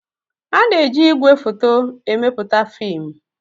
Ana-eji ìgwè foto emepụta fiim.